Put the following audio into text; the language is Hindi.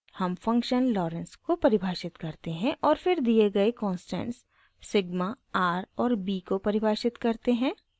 हम फंक्शन lorenz को परिभाषित करते हैं और फिर दिए गए कॉंस्टेंट्स सिग्मा r और b को परिभाषित करते हैं